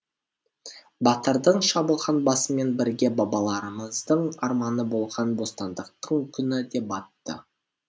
батырдың шабылған басымен бірге бабаларымыздың арманы болған бостандықтың күні де батты